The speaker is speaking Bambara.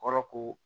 Kɔrɔ ko